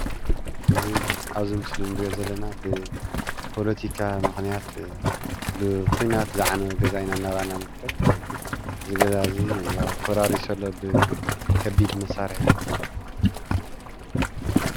እዚ ኣብዚ ምስሊ ንሪኦ ዘለና ብፖለቲካ ምኽንያት ብዂናት ዝዓነወ ገዛ ኢና እናረኣና ንርከብ፡፡ እዚ ገዛ እዚ ያው ፈራሪሱ ኣሎ ብከቢድ መሳርሒ፡፡